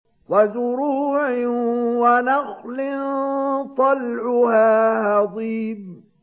وَزُرُوعٍ وَنَخْلٍ طَلْعُهَا هَضِيمٌ